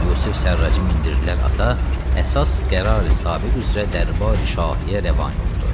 Yusif Sərracı mindirdilər ata, əsas qərari sabi qüvvəti dərbari şahiyə rəvanə oldu.